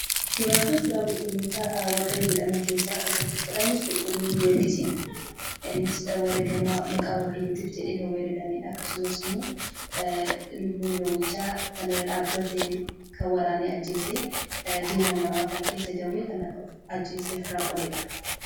Suuraan Kun suuraa 'Qulqulloota Waaqayyoo' jedhaman keessaa isa tokkodha. Innis qulqulluu goorgisii, innis wareegama maqaa waaqayyootiif jedhee kan wareegame akkasumas immoo lubbuu jawwichaa irra dhaabbatee kan waraanee ajjeese, diina namaa kan ta'e, isa jawwee kana ajjeesee ofirraa qoleedha.